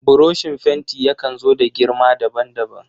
Burushin fenti yakan zo da girma daban daban.